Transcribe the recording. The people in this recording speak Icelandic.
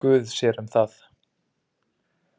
Guð sér um það.